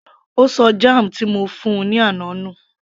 Ó ṣọ jam ti mo fún -un ní àná nù